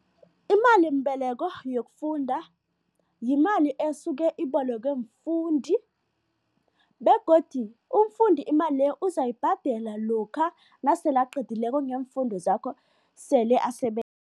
Imalimbeleko yokufunda yimali esuke ibolekwe mfundi begodu umfundi imali le uzayibhadela lokha nasele aqedileko ngeemfundo zakho sele